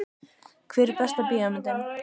Hver er besta bíómyndin?